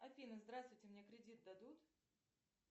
афина здравствуйте мне кредит дадут